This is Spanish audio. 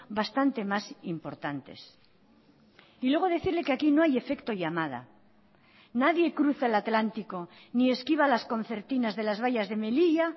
bastante más importantes y luego decirle que aquí no hay efecto llamada nadie cruza el atlántico ni esquiva las concertinas de las vallas de melilla